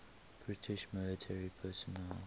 british military personnel